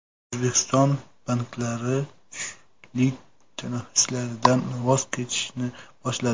O‘zbekiston banklari tushlik tanaffuslaridan voz kechishni boshladi.